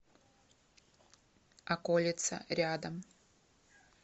околица рядом